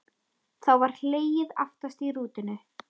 Þá var hlegið aftast í rútunni.